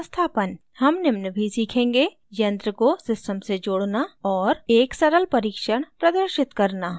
हम निम्न भी सीखेंगे: